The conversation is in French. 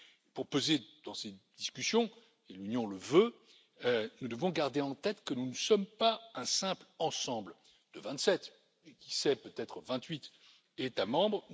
Pour peser dans cette discussion, et c'est la volonté de l'Union, nous devons garder en tête que nous ne sommes pas un simple ensemble de vingt sept, et qui sait, peut être vingt huit États membres.